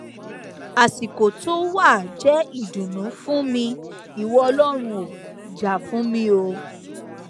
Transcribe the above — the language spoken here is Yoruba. àsìkò tó wàá jẹ ìdùnnú fún mi ìwọ ọlọrun ò jà fún mi o